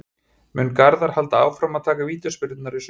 Mun Garðar halda áfram að taka vítaspyrnurnar í sumar?